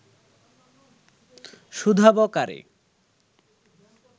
শুধাবো কারে